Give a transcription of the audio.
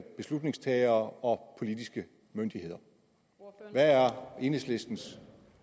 beslutningstagere og politiske myndigheder hvad er enhedslistens